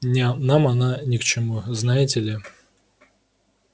не нам она ни к чему знаете ли